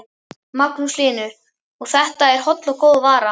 Magnús Hlynur: Og þetta er holl og góð vara?